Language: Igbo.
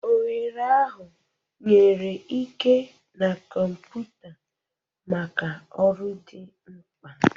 Oghere ahụ nyere ike na kọmpụta maka ọrụ dị mkpa.